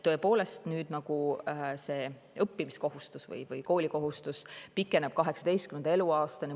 Tõepoolest, nüüd õppimiskohustus või koolikohustus pikeneb 18. eluaastani.